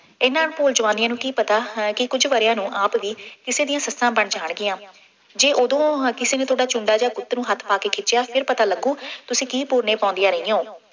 ਇਹਨਾ ਭੋਲ ਜਵਾਨੀਆਂ ਨੂੰ ਕੀ ਪਤਾ ਹਾਂ ਕਿ ਕੁੱਝ ਵਰ੍ਹਿਆਂ ਨੂੰ ਆਪ ਵੀ ਕਿਸੇ ਦੀਆਂ ਸੱਸਾਂ ਬਣ ਜਾਣਗੀਆਂ। ਜੇ ਉਦੋਂ ਹਰ ਕਿਸੇ ਨੇ ਤੁਹਾਡਾ ਚੂੰਡਾ ਜਿਹਾ ਗੁੱਤ ਨੂੰ ਹੱਥ ਪਾ ਕੇ ਖਿੱਚਿਆ ਫੇਰ ਪਤਾ ਲੱਗੂ, ਤੁਸੀਂ ਕੀ ਪੂਰਨੇ ਪਾਉਂਦੀਆਂ ਰਹੀਆਂ ਹੋ।